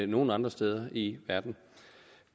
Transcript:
nogen andre steder i verden